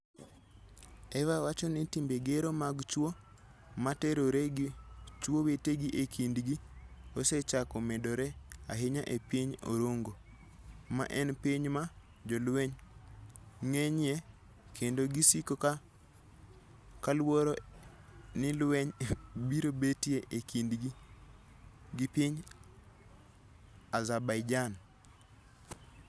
Eva wacho ni timbe gero mag chwo ma terore gi chwo wetegi e kindgi osechako medore ahinya e piny Orongo, ma en piny ma jolweny ng'enyie kendo ji siko ka luor ni lweny biro betie e kindgi gi piny Azerbaijan.